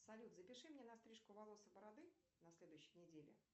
салют запиши меня на стрижку волос и бороды на следующей неделе